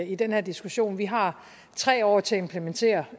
i den her diskussion vi har tre år til at implementere